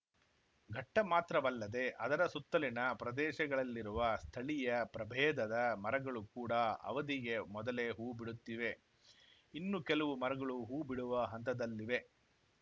ಘಟ್ಟಮಾತ್ರವಲ್ಲದೆ ಅದರ ಸುತ್ತಲಿನ ಪ್ರದೇಶಗಳಲ್ಲಿರುವ ಸ್ಥಳೀಯ ಪ್ರಭೇದದ ಮರಗಳು ಕೂಡ ಅವಧಿಗೆ ಮೊದಲೇ ಹೂ ಬಿಡುತ್ತಿವೆ ಇನ್ನೂ ಕೆಲವು ಮರಗಳು ಹೂ ಬಿಡುವ ಹಂತದಲ್ಲಿವೆ